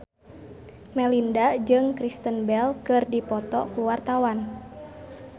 Melinda jeung Kristen Bell keur dipoto ku wartawan